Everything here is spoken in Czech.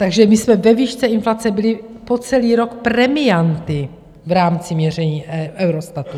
Takže my jsme ve výšce inflace byli po celý rok premianty v rámci měření Eurostatu.